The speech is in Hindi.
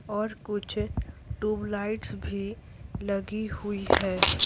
और कुछ ट्यूबलाइट्स भी लगी हुई है।